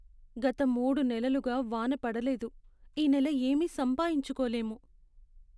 గత మూడు నెలలుగా వాన పడలేదు. ఈ నెల ఏమీ సంపాయించుకోలేము.